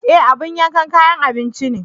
Ee! abin yanka kayan abinci ne.